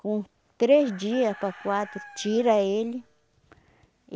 Com três dias para quatro, tira ele.